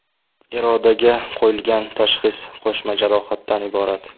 Irodaga qo‘yilgan tashxis qo‘shma jarohatdan iborat.